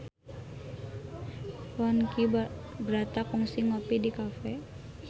Ponky Brata kungsi ngopi di cafe